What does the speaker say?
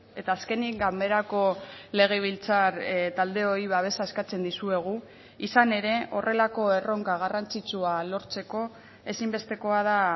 eta azkenik ganberako legebiltzar taldeoi babesa eskatzen dizuegu izan ere horrelako erronka garrantzitsua lortzeko ezinbestekoa da